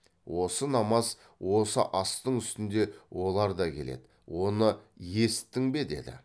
осы намаз осы астың үстіне олар да келеді оны есіттің бе деді